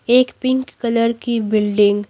एक pink colour की building --